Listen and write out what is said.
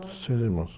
Seis irmãos